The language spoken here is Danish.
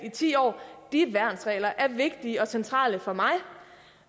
i ti år og de værnsregler er vigtige og centrale for mig